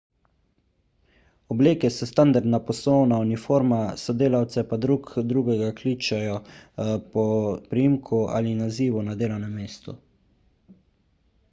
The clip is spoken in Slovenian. obleke so standardna poslovna uniforma sodelavci pa drug drugega kličejo po priimku ali nazivu na delovnem mestu